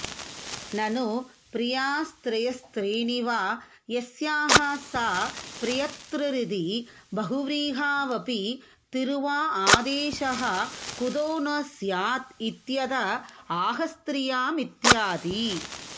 ननु प्रियास्त्रयस्त्रीणि वा यस्याः सा प्रियत्रिरिति बहुव्रीहावपि तिरुआआदेशः कुतो न स्यादित्यत आहस्त्रियामित्यादि